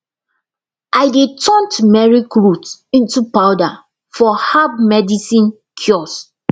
i dey turn turmeric root into powder for herb medicine kiosk